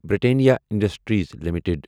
Britannia industries limited